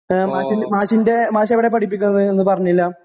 ഏഹ് മാഷി മാഷിന്റെ മാഷെവിടായാ പഠിപ്പിക്കണത് എന്ന് പറഞ്ഞില്ല?